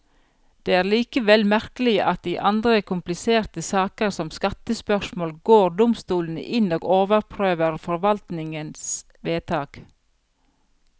Det er likevel merkelig at i andre kompliserte saker, som skattespørsmål, går domstolene inn og overprøver forvaltningens vedtak.